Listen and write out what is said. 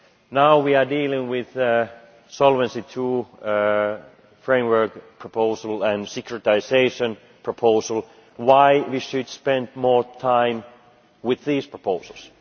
Now we are dealing with the Solvency II framework proposal and the securitisation proposal, why should we spend more time with these proposals?